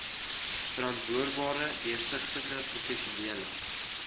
verantwoordbare deursigtige professionele